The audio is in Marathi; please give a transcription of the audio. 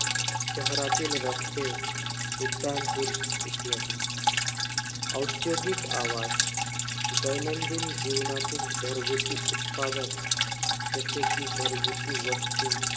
शहरातील रस्ते, उड्डाणपूल इत्यादी. औद्योगिक आवाज, दैनंदिन जीवनातील घरगुती उत्पादक, जसे कि घरगुती वस्तू,